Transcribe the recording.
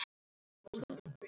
Barnið verður líklega engu nær.